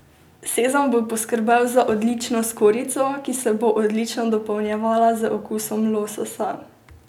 Sezam bo poskrbel za odlično skorjico, ki se bo odlično dopolnjevala z okusom lososa.